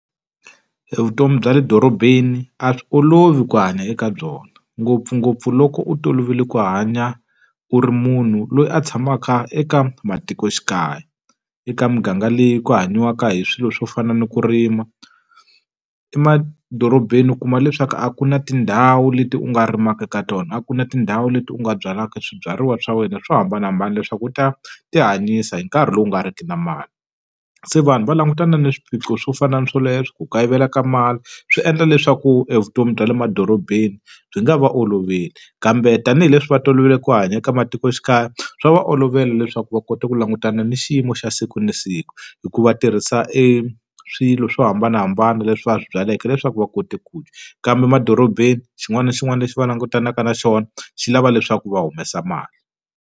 Evutomi bya le dorobeni a swi olovi ku hanya eka byona, ngopfungopfu loko u tolovele ku hanya u ri munhu loyi a tshamaka eka matikoxikaya. Eka muganga leyi ku hanyiwaka hi swilo swo fana ni ku rima, emadorobeni u kuma leswaku a ku na tindhawu leti u nga rimaka eka tona, a ku na tindhawu leti u nga byalaka swibyariwa swa wena swo hambanahambana leswaku u ta ti hanyisa hi nkarhi lowu nga riki na mali. Se vanhu va langutana na swiphiqo swo fana na swoleswo, ku kayivela ka mali, swi endla leswaku evutomi bya le madorobeni byi nga va oloveli. Kambe tanihileswi va tolovele ku hanya eka matikoxikaya swa va olovela leswaku va kota ku lava langutana na xiyimo xa siku na siku. Hikuva tirhisa e swilo swo hambanahambana leswi va swi byaleke leswaku va kote ku dya, kambe emadorobeni xin'wana na xin'wana lexi va langutanaka na xona xi lava leswaku va humesa mali.